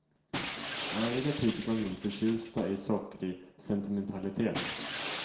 Övriga kritiker var mindre förtjusta i sockrig sentimentalitet.